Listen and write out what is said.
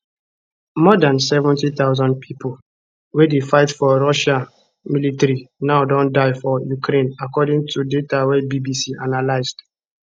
more dan 70000 pipo wey dey fight for russia military now don die for ukraine according to data wey bbc analysed